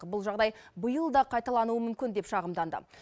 бұл жағдай биыл да қайталануы мүмкін деп шағымданды